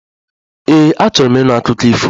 Ee, achọrọ m ịnụ akụkọ ifo